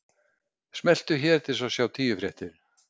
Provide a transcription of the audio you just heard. Smelltu hér til að sjá tíu fréttir